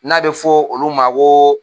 N'a bɛ fɔ olu ma ko